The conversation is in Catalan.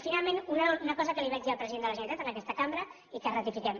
i finalment una cosa que li vaig dir al president de la generalitat en aquesta cambra i que ratifiquem